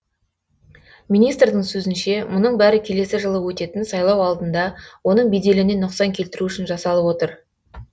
министрдің сөзінше мұның бәрі келесі жылы өтетін сайлау алдында оның беделіне нұқсан келтіру үшін жасалып отыр